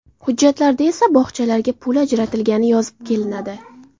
Hujjatlarda esa bog‘chalarga pul ajratilgani yozib kelinadi”.